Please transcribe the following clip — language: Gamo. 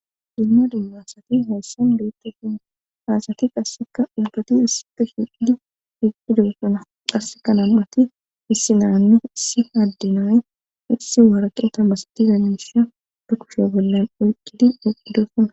Dumma dummasati hayssan geeqtefun haasati qasseka ubgati hissite hiidi heqqidossuna qasse kanammati issinaanne issi addinay issi waraqeta masitiza misha dukushoo bollan oyqqidi oqqidosana